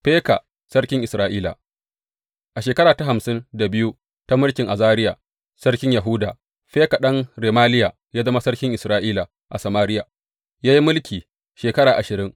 Feka sarkin Isra’ila A shekara ta hamsin da biyu ta mulkin Azariya sarkin Yahuda, Feka ɗan Remaliya ya zama sarkin Isra’ila a Samariya, ya yi mulki shekara ashirin.